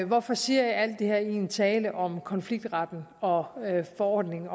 hvorfor siger jeg alt det her i en tale om konfliktretten og forordningen